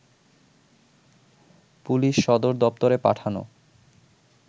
police সদর দপ্তরে পাঠানো